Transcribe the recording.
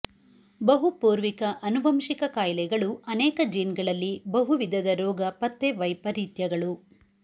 ಬಹುಪೂರ್ವಿಕ ಆನುವಂಶಿಕ ಕಾಯಿಲೆಗಳು ಅನೇಕ ಜೀನ್ಗಳಲ್ಲಿ ಬಹುವಿಧದ ರೋಗ ಪತ್ತೆ ವೈಪರಿತ್ಯಗಳು